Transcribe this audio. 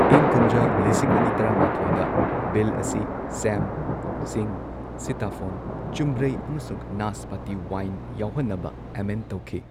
ꯏꯪ ꯀꯨꯝꯖꯥ ꯂꯤꯁꯤꯡ ꯑꯅꯤ ꯇꯔꯥꯃꯥꯊꯣꯏꯗ ꯕꯤꯜ ꯑꯁꯤ ꯁꯦꯝ, ꯁꯤꯡ, ꯁꯤꯇꯥꯐꯣꯟ, ꯆꯨꯝꯕ꯭ꯔꯩ ꯑꯃꯁꯨꯡ ꯅꯥꯁꯄꯥꯇꯤ ꯋꯥꯏꯟ ꯌꯥꯎꯍꯟꯅꯕ ꯑꯦꯃꯦꯟꯗ ꯇꯧꯈꯤ꯫